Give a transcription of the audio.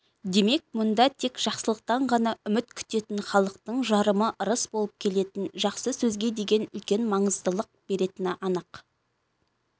демек мұнда тек жақсылықтан ғана үміт күтетін халықтың жарымы ырыс болып келетін жақсы сөзге деген үлкен маңыздылық беретіні анық